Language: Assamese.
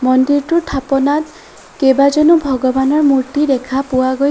মন্দিৰটোৰ থাপানত কেইবাজনো ভগৱানৰ মূৰ্তি দেখা পোৱা গৈছ--